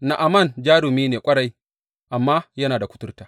Na’aman jarumi ne ƙwarai, amma yana da kuturta.